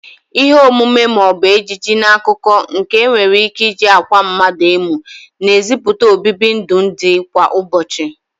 Ihe omume ma o bu ejije n'akụkọ nke e nwere ike iji akwa mmadu emu na eziputa obibi ndụ ndi kwa ụbochị.